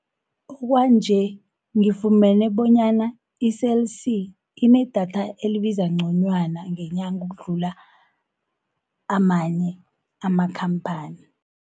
Okwanje ngifumene bonyana i-Cell C, inedatha elibiza nconywana ngenyanga ukudlula amanye amakhamphani.